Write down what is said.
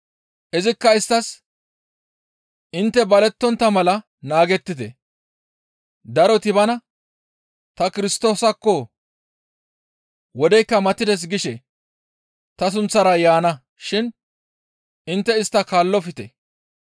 Izikka isttas, «Intte balettontta mala naagettite; daroti bana, ‹Ta Kirstoosakko! Wodeykka matides› gishe ta sunththara yaana shin intte istta kaallofte.